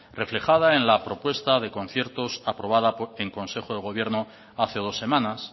reflejada en la propuesta de conciertos aprobada en consejo de gobierno hace dos semanas